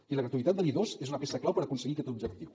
i la gratuïtat de l’i2 és una peça clau per aconseguir aquest objectiu